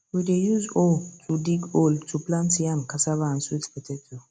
we dey use hoe to dig hole to plant yam cassava and sweet potato